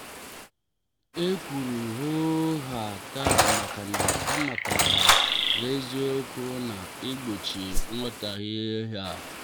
e kwuru hoo haa taa makana amataram n'eziokwu na egbochi nghotaghie.